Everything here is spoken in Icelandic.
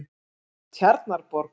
Tjarnarborg